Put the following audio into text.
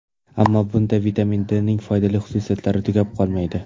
Ammo bunda vitamin D ning foydali xususiyatlari tugab qolmaydi.